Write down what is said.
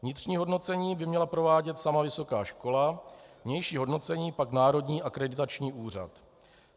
Vnitřní hodnocení by měla provádět sama vysoká škola, vnější hodnocení pak Národní akreditační úřad.